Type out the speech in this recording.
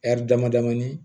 dama damani